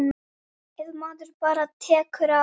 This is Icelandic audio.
Ef maður bara tekur á.